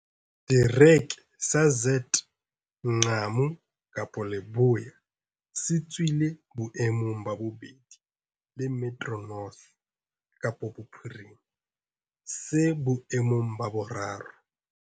Le Setereke sa ZF Mgcawu Kapa Leboya se tswileng boemong ba bobedi le Metro North Kapa Bophirima se boemong ba boraro.